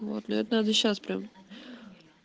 вот мне вот надо сейчас прям